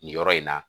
Nin yɔrɔ in na